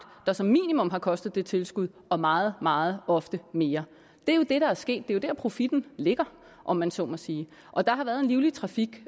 der som minimum har kostet det tilskud og meget meget ofte mere det er jo det der er sket det er jo der profitten ligger om man så må sige og der har været en livlig trafik